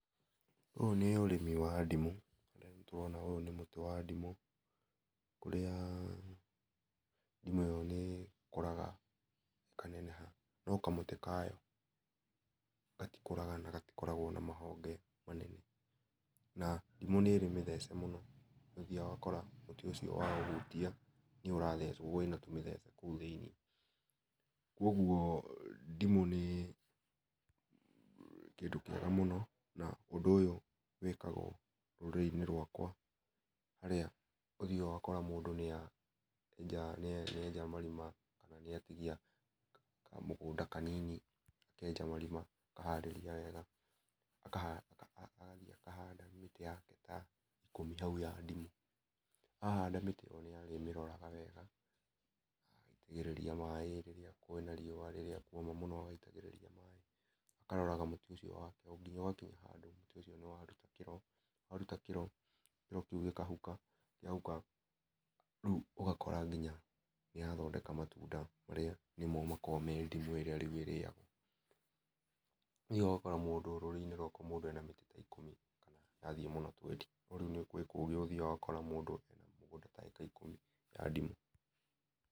Ũyũ nĩ ũrĩmi wa ndimũ harĩa nĩtũrona ũyũ nĩ mũtĩ wa ndimũ, kũrĩa ndimũ ĩyo nĩ ĩkũraga na ĩkanenega no kamũtĩ kayo gatikũraga na gatĩkoragwo na mahonge manene, na ndimũ nĩ ĩrĩ mĩthece mũno nĩ ũthĩaga ũgakora mũtĩ ũcio wa ũhũtia nĩ ũrathecwo wĩna tũmĩthece kũu thĩinĩ kwoguo ndimũ nĩ kĩndũ kĩega mũno na ũndũ ũyũ wĩkagwo rũrĩrĩinĩ rwakwa harĩa ũthĩaga ũgako mũndũ nĩ a enja nĩ enja marima ũkona nĩ atigia kamũgũnda kanini akenja marĩma, akaharĩria wega agathiĩ akahanda mĩtĩ yake ta ĩkũmi haũ ya ndimũ ahanda mĩtĩ ĩyo nĩ arĩmĩroraga wega agaĩtagĩrĩria maĩ rĩrĩa kwĩna riũa kũoma mũno agaĩtagĩrĩria maĩ akaroraga mũtĩ ũcio wake nginya ũgakĩnya handũ mũtĩ ũcio nĩwarũta kĩro , warũta kĩro kĩro kĩu gĩkahũka rĩũ ũgakora nginya nĩya thondeka mtũnda marĩa nĩmo makoragwo me ndimũ ĩyo rĩũ ĩrĩagwo. Nĩ ũthiaga ũgakora mũndũ rũrĩrĩ inĩ rwakwa mũndũ ena mĩtĩ ta ikũmi kana yathiĩ mũno twendi no rĩũ he kũngĩ ũthiaga ũgakora ena migũnda ta ĩka ikũmĩ ya ndimũ.